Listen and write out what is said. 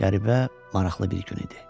Qəribə, maraqlı bir gün idi.